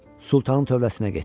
Sultanın tövləsinə getdi.